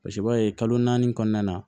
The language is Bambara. Paseke i b'a ye kalo naani kɔnɔna na